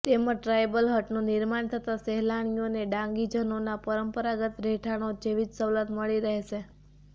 તેમજ ટ્રાયબલ હટનું નિર્માણ થતા સહેલાણીઓને ડાંગીજનોના પરંપરાગત રહેઠાણો જેવી જ સવલત મળી રહેશે